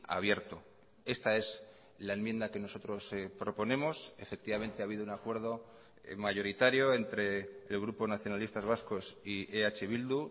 abierto esta es la enmienda que nosotros proponemos efectivamente ha habido un acuerdo mayoritario entre el grupo nacionalistas vascos y eh bildu